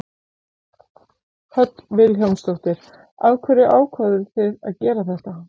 Hödd Vilhjálmsdóttir: Af hverju ákváðuð þið að gera þetta?